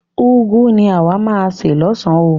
Úgwu ni àwa máa se lọ́san oo.